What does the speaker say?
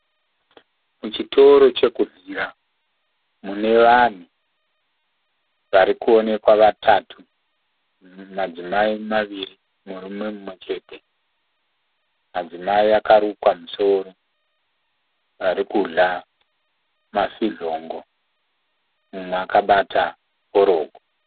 Muchitoro chekudyira munevanhu varikuonekwa vatatu. Madzimai maviri murume umwe chete. Madzimai akarukwa misoro arikudya mafidyongo mumwe akabata forogo.